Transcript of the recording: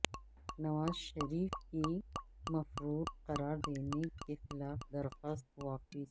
نواز شریف کی مفرور قرار دینے کے خلاف درخواست واپس